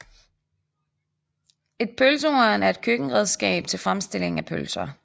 Et pølsehorn er et køkkenredskab til fremstilling af pølser